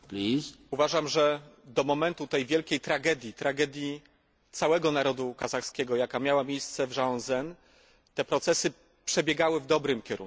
Uważam, że do momentu tej wielkiej tragedii, tragedii całego narodu kazachskiego, jaka miała miejsce w Żangaözen, te procesy przebiegały w dobrym kierunku.